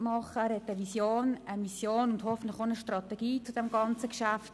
Er hat eine Vision, eine Mission und hoffentlich auch eine Strategie zu diesem Geschäft.